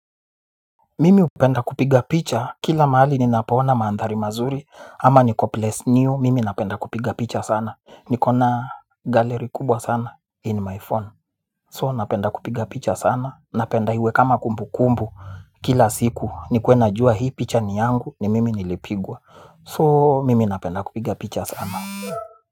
Mimi hupenda kupiga picha kila mahali ninapoona mandhari mazuri ama ni place new mimi napenda kupiga picha sana nikona gallaery kubwa sana in my phone so napenda kupiga picha sana napenda iwe kama kumbukumbu kila siku nikue najua hii picha ni yangu ni mimi nillipigwa.